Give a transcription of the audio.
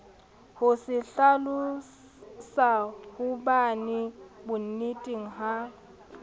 ho se hlalosahobane bonneteng ha